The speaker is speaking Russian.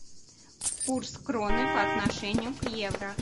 курс кроны по отношению к евро